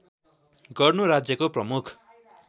गर्नु राज्यको प्रमुख